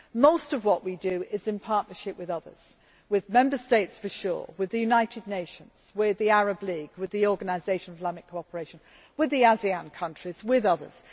Most of what we do is in partnership with others, with Member States for sure, with the United Nations, with the Arab League, with the Organisation of Islamic Cooperation, with the ASEAN countries and with others.